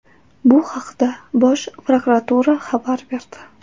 Bu haqda Bosh prokuratura xabar berdi.